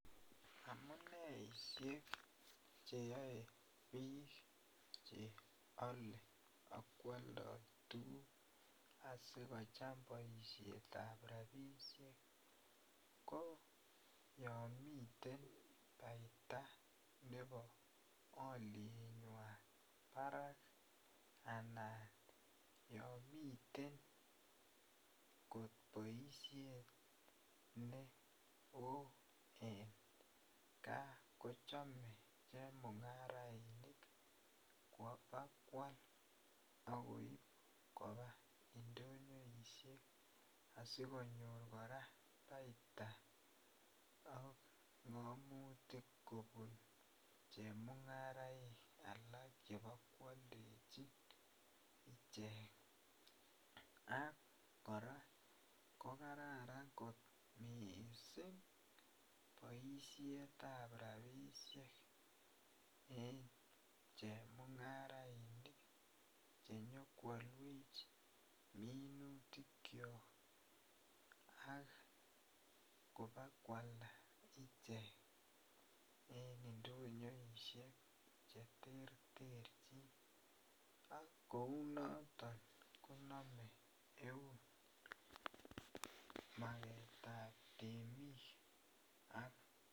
Amuneisiek cheyae bik cheale akwalda tuguk sikochame boisietab rabinik ko yoon miten baita nebo alietnyuan barak anan Yoon miten boisiet nebo kaa kochame chemung'arainik kobokual koba indonyoisiek asikonyor baita en makuti kwak, chemung'araik alak chebo koaldechin . Ak kora ko kararan kot missing baisietab rabisiek en chemung'arainik chenyokoawech minutik kuak ak kobakoalda icheket indonyoisiek cheterter chename eunek magetab temik ak.